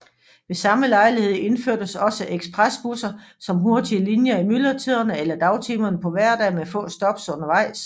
Ved samme lejlighed indførtes også ekspresbusser som hurtige linjer i myldretiderne eller dagtimerne på hverdage med få stop undervejs